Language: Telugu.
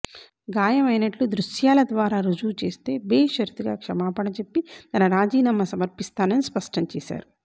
గాయమైనట్లు దృశ్యాల ద్వారా రుజువు చేస్తే బేషరతుగా క్షమాపణ చెప్పి తన రాజీనామా సమర్పిస్తానని స్పష్టంచేశారు